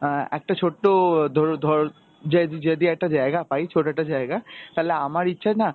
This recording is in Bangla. অ্যাঁ একটা ছোট্ট ধরু~ ধর যেইদু~ যদি একটা জায়গা পাই ছোট একটা জায়গা, তালে আমার ইচ্ছা না